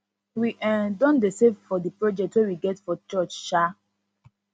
we um don dey save for di project wey we get for church um